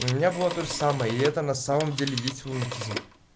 у меня было тоже самое и это на самом деле есть лунатизм